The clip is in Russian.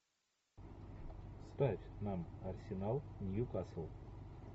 ставь нам арсенал ньюкасл